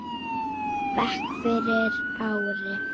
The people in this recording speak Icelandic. bekk fyrir ári.